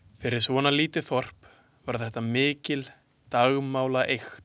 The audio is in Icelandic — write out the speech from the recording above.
Fyrir svona lítið Þorp var þetta mikil dagmálaeykt.